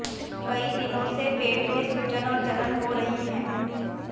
कई दिनों से पेट में सूजन और जलन हो रही है